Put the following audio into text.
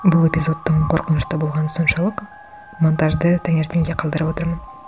бұл эпизодтың қорқынышты болғаны соншалық монтажды таңертеңге қалдырып отырмын